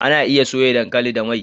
Anaa iya soya dankali da mai